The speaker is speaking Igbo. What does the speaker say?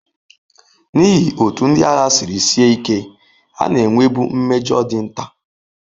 N'ihi otú ndị agha siri sie ike, a na-enwebu mmejọ dị nta.